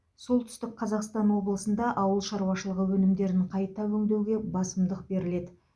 солтүстік қазақстан облысында ауыл шаруашылығы өнімдерін қайта өңдеуге басымдық беріледі